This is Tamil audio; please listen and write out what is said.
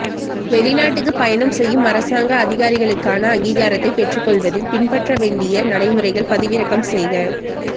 வெளிநாட்டுக்கு பயணம் செய்யும் அரசாங்க அதிகாரிகளுக்கான அங்கீகாரத்தை பெற்றுக்கொள்வதில் பின்பற்றப்பட வேண்டிய நடைமுறைகள் பதிவிறக்கம் செய்க